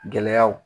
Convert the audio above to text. Gɛlɛyaw